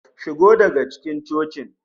Shigo daga cikin cocin!